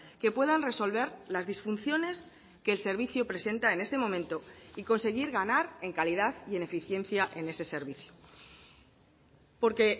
que puedan resolver las disfunciones que el servicio presenta en este momento y conseguir ganar en calidad y en eficiencia en ese servicio porque